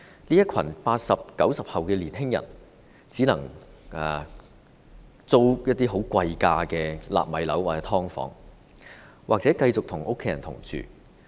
這群 "80 後"、"90 後"的年青人只能租住一些貴價"納米樓"或"劏房"，或繼續與家人同住。